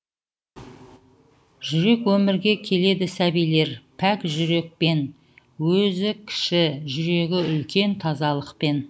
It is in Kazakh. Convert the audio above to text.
жүрек өмірге келеді сәбилер пәк жүрекпен өзі кіші жүрегі үлкен тазалықпен